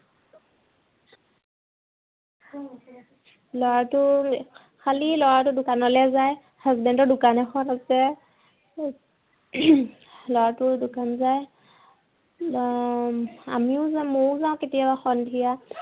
ল'ৰাটোৰ খালি ল'ৰাটো দোকানলে যায়। husband ৰ দোকান এখন আছে। ল'ৰাটোও দোকান যায়। আহ আমিও যাও, মইও যাও কেতিয়াবা সন্ধিয়া